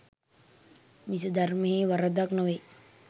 මිස ධර්මයෙහි වරදක් නොවේ.